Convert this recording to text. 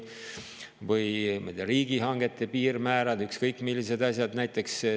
Või riigihangete piirmäärad, ükskõik millised asjad.